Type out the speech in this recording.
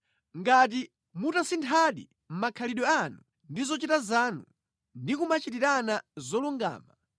Ngati mutasinthadi makhalidwe anu ndi zochita zanu, ndi kumachitirana zolungama,